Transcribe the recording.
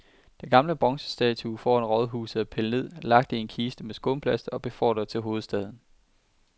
Den gamle bronzestatue foran rådhuset er pillet ned, lagt i en kiste med skumplast og befordret til hovedstaden.